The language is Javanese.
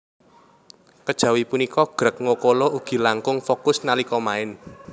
Kejawi punika Greg Nwokolo ugi langkung fokus nalika main